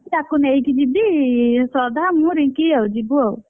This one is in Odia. ତାକୁ ନେଇକି ଯିବି, ଶ୍ରଦ୍ଧା ମୁଁ ରିଙ୍କି ଆଉ ଯିବୁ ଆଉ,